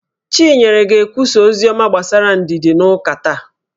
Chinyere ga-ekwusa oziọma gbasara ndidi n'ụka taa